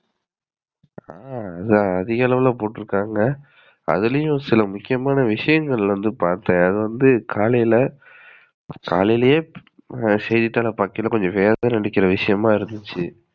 ஆஹ் அது அதிக அளவுல போட்ருக்காங்க. அதுலயும் சில முக்கியமான விஷயங்கள் வந்து பாத்தேன் அதுவந்து காலைல கலையிலையே செய்திதாள பாக்கையில கொஞ்சம் வியக்குற விஷயமா இருந்துச்சு.